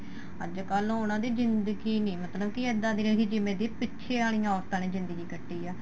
ਅੱਜਕਲ ਉਹਨਾ ਦੀ ਜਿੰਦਗੀ ਨੀ ਇੱਦਾਂ ਦੀ ਰਹਿਗੀ ਜਿਵੇਂ ਕਿ ਪਿੱਛੇ ਵਾਲੀਆਂ ਔਰਤਾਂ ਨੇ ਜਿੰਦਗੀ ਕੱਟੀ ਏ